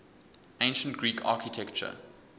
ancient greek architecture